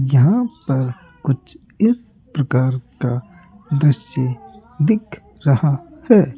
यहां पर कुछ इस प्रकार का दृश्य दिख रहा है।